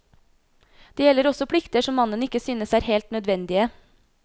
Det gjelder også plikter som mannen ikke synes er helt nødvendige.